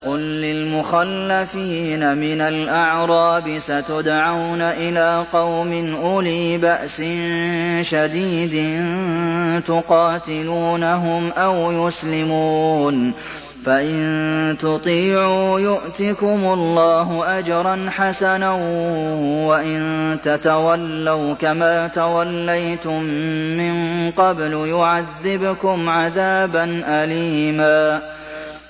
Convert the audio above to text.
قُل لِّلْمُخَلَّفِينَ مِنَ الْأَعْرَابِ سَتُدْعَوْنَ إِلَىٰ قَوْمٍ أُولِي بَأْسٍ شَدِيدٍ تُقَاتِلُونَهُمْ أَوْ يُسْلِمُونَ ۖ فَإِن تُطِيعُوا يُؤْتِكُمُ اللَّهُ أَجْرًا حَسَنًا ۖ وَإِن تَتَوَلَّوْا كَمَا تَوَلَّيْتُم مِّن قَبْلُ يُعَذِّبْكُمْ عَذَابًا أَلِيمًا